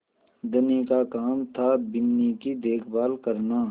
धनी का काम थाबिन्नी की देखभाल करना